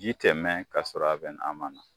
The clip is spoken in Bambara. Ji tɛ mɛn ka sɔrɔ a be n'a ma na.